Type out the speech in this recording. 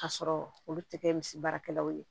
K'a sɔrɔ olu tɛ kɛ misi baarakɛlaw ye